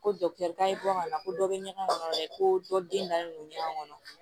Ko ka na ko dɔ bɛ ɲɛgɛn kɔnɔ dɛ ko dɔ den dalen don ɲɔgɔn kɔnɔ